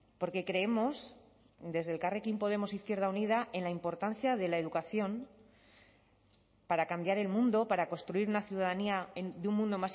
porque creemos desde elkarrekin podemos izquierda unida en la importancia de la educación para cambiar el mundo para construir una ciudadanía de un mundo